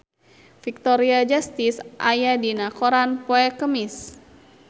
Victoria Justice aya dina koran poe Kemis